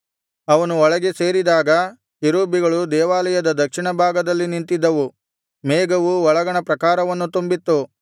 ಅವನು ಒಳಗೆ ಸೇರಿದಾಗ ಕೆರೂಬಿಗಳು ದೇವಾಲಯದ ದಕ್ಷಿಣಭಾಗದಲ್ಲಿ ನಿಂತಿದ್ದವು ಮೇಘವು ಒಳಗಣ ಪ್ರಾಕಾರವನ್ನು ತುಂಬಿತ್ತು